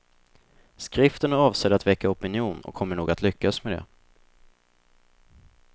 Skriften är avsedd att väcka opinion och kommer nog att lyckas med det.